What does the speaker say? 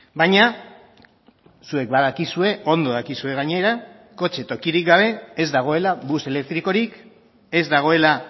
baina zuek badakizue ondo dakizue gainera kotxe tokirik gabe ez dagoela bus elektrikorik ez dagoela